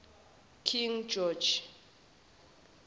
king george